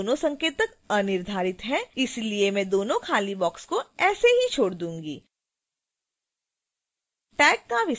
इसके लिए दोनों संकेतक अनिर्धारित हैं इसलिए मैं दोनों खाली boxes ऐसे ही छोड़ दूंगी